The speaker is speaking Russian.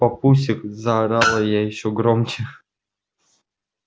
папусик заорала я ещё громче